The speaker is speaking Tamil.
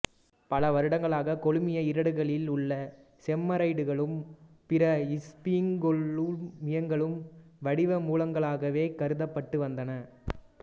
பல வருடங்களாக கொழுமிய ஈரடுக்குகளில் உள்ள செரமைடுகளும் பிற இஸ்பிங்கோகொழுமியங்களும் வடிவ மூலகங்களாகவேக் கருதப்பட்டு வந்தன